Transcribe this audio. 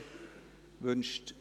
– Das ist der Fall.